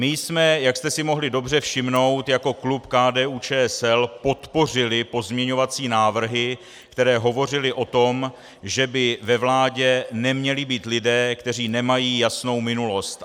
My jsme, jak jste si mohli dobře všimnout, jako klub KDU-ČSL podpořili pozměňovací návrhy, které hovořily o tom, že by ve vládě neměli být lidé, kteří nemají jasnou minulost.